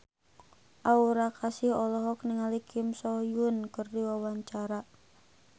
Aura Kasih olohok ningali Kim So Hyun keur diwawancara